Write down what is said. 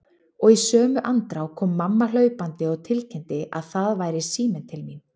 Og í sömu andrá kom mamma hlaupandi og tilkynnti að það væri síminn til mín.